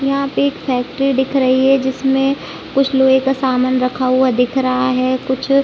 यहाँ पे एक फैक्ट्री दिख रही है जिसमें कुछ लोहे का सामान रखा हुआ दिख रहा। कुछ--